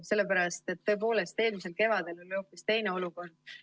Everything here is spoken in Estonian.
Sellepärast, et eelmisel kevadel oli hoopis teine olukord.